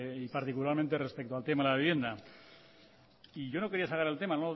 y particularmente respecto al tema de la vivienda y yo no quería sacar el tema